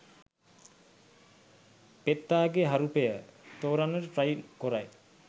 පෙත්තාගේ හරුපය තෝරන්නට ට්‍රයි කොරයි.